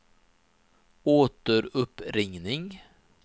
återuppringning